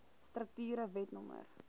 strukture wet no